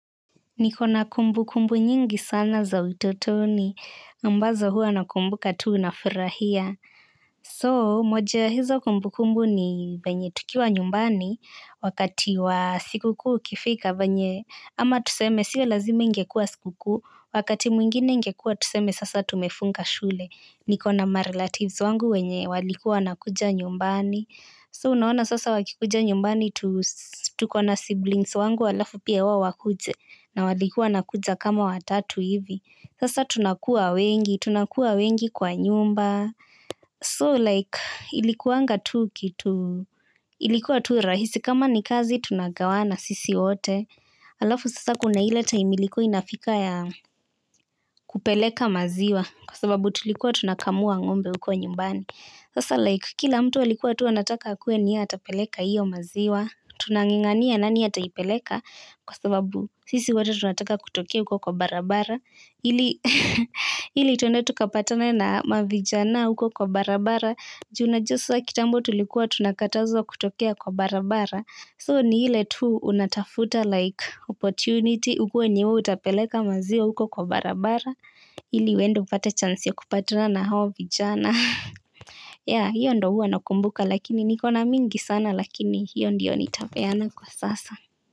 Niko na kumbukumbu nyingi sana za utotoni, ambazo huwa na kumbuka tu na furahia. So moja ya hizo kumbukumbu ni venye tukiwa nyumbani wakati wa siku kuu ikifika venye ama tuseme sio lazima ingekuwa siku kuu, wakati mwingine ingekuwa tuseme sasa tumefunga shule. Niko na marelatives wangu wenye walikuwa wanakuja nyumbani. So unaona sasa wakikuja nyumbani tuko na siblings wangu alafu pia wao wakuje na walikuwa wanakuja kama watatu hivi. Sasa tunakuwa wengi, tunakuwa wengi kwa nyumba. So like ilikuanga tu kitu, ilikuwa tu rahisi kama ni kazi tunagawana sisi wote. Alafu sasa kuna ile time ilikuwa inafika ya kupeleka maziwa kwa sababu tulikuwa tunakamua ng'ombe huko nyumbani. Sasa like kila mtu alikuwa tu anataka akuwe ni yeye atapeleka hiyo maziwa. Tunanga'ngania nani ataipeleka kwa sababu sisi wote tunataka kutokea huko kwa barabara. Ili ili tukapatane na mavijana huko kwa barabara. Ju unajua sasa kitambo tulikuwa tunakatazwa kutokea kwa barabara. So ni ile tu unatafuta like opportunity. Ukuwe ni wewe utapeleka maziwa huko kwa barabara. Ili uende upate chance ya kupatana na hao vijana. Ya hiyo ndo huwa nakumbuka lakini niko na mingi sana lakini hiyo ndio nitapeana kwa sasa.